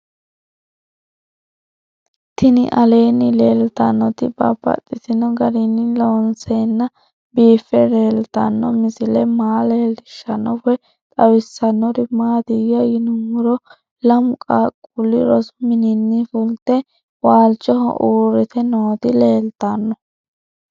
Tinni aleenni leelittannotti babaxxittinno garinni loonseenna biiffe leelittanno misile maa leelishshanno woy xawisannori maattiya yinummoro lamu qaaqulli rosu mininni fulitte walichoho uuritte nootti leelittanno